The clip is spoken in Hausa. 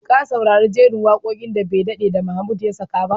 Ka saurari jerin waƙoƙin da bai daɗe da Mahmud ya saka ba?